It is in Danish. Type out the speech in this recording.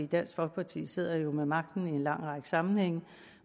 dansk folkeparti sidder jo med magten i en lang række sammenhænge